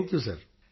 thank you